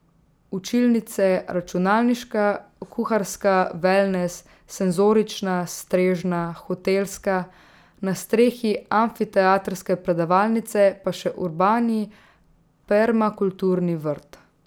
Učilnice, računalniška, kuharska, velnes, senzorična, strežna, hotelska, na strehi amfiteatrske predavalnice pa še urbani permakulturni vrt.